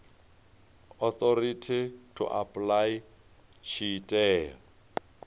authority to apply tshi tea